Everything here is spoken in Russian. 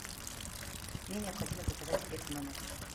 мне необходимо заказать обед в номер